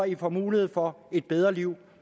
i får mulighed for et bedre liv